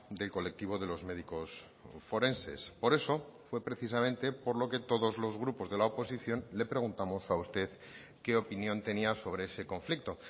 del colectivo de los médicos forenses por eso fue precisamente por lo que todos los grupos de la oposición le preguntamos a usted qué opinión tenía sobre ese conflicto